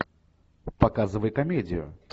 показывай комедию